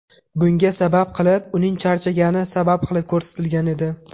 Bunga sabab qilib, uning charchagani sabab qilib ko‘rsatilgan edi .